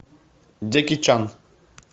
джеки чан